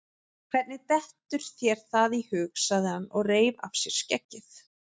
Hvernig dettur þér það í hug? sagði hann og reif af sér skeggið.